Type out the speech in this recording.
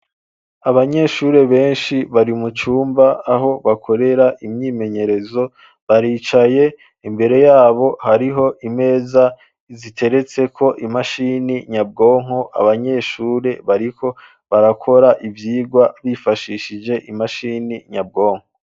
Abanyeshure benshi bari mucumba aho bakorera imyimenyerezo baricaye imbere yabo hariho imeza ziteretseko imashini nyabwonko abanyeshuri bariko barakora ivyigwa bifashishije imashini nyabwonko.